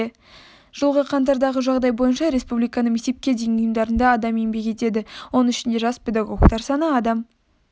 жылғы қаңтардағы жағдай бойынша республиканың мектепке дейінгі ұйымдарында адам еңбек етеді оның ішінде жас педагогтер саны адам